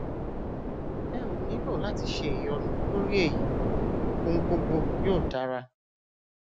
ẹ ò nílò láti ṣe ìyọnu lórí èyí ọhun gbogbo yóò dára